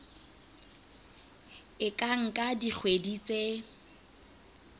e ka nka dikgwedi tse